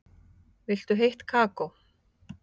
Viltu heitt kakó?